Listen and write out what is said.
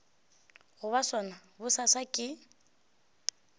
go ba sona bosasa ke